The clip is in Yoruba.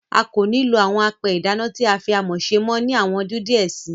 A kò ní lo àwọn apẹ ìdáná tí a fí amọ̀ ṣe mọ́ ni àwọn ọdún díẹ̀ síi.